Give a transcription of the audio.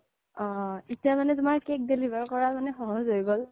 অ এতিয়া মানে তুমাৰ cake deliver কৰা তুমাৰ সহজ হৈ গ্'ল